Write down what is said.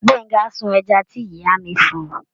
Gbenga sun ẹja tí ìyá mi fun.